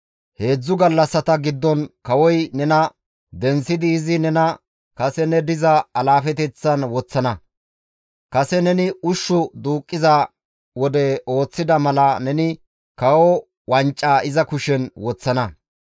Heedzdzu gallassata giddon kawoy nena denththidi izi nena kase ne diza alaafeteththan woththana; kase neni ushshu duuqqiza wode ooththida mala neni kawo wancaa iza kushen woththana.